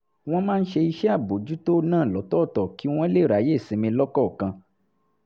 wọ́n máa ń ṣe iṣẹ́ àbójútó náà lọ́tọ̀ọ̀tọ̀ kí wọ́n lè ráyè sinmi lọ́kọ̀ọ̀kan